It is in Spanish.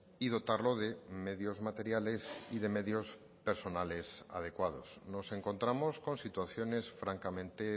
y dotarlo de medios materiales y de medios personales adecuados nos encontramos con situaciones francamente